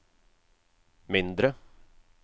mindre